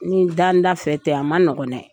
Ni danda fɛ tɛ a ma nɔgɔn nɛ.